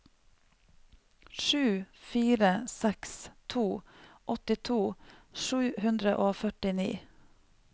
sju fire seks to åttito sju hundre og førtini